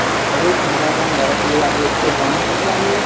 যদি কোনোবা এজন লৰা ছোৱালীয়ে আজি school যোৱা নাই তেনেহলে আমি